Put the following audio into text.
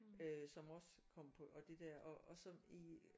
Øh som også kom på og det der og og som i øh